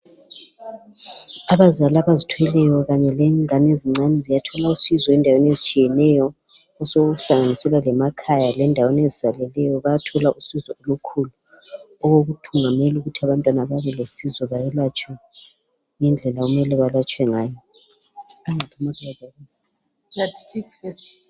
Abazali abazithweleyo, kanye lengane ezincane. Ziyathola usizo endaweni ezitshiyeneyo. Osokuhlanganisela lemakhaya. Lendaweni ezisaleleyo. Bayathola usizo olukhulu. Okokuthungamela ukuthi abantwana, babelosizo. Bayelatshwe, ngendlela okumele balatshwe ngayo.